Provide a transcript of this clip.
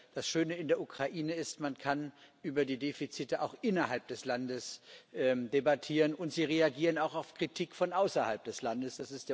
Das Schöne in der Ukraine ist Man kann über die Defizite auch innerhalb des Landes debattieren, und sie reagieren auch auf Kritik von außerhalb des Landes.